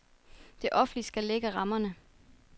Det offentlige skal lægge rammerne.